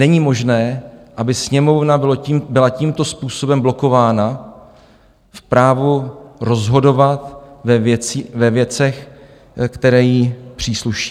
Není možné, aby Sněmovna byla tímto způsobem blokována v právu rozhodovat ve věcech, které jí přísluší.